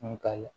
Nga